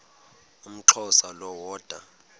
umxhosa lo woda